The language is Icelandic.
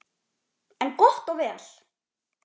En gott og vel.